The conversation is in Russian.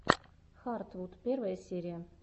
хартвуд первая серия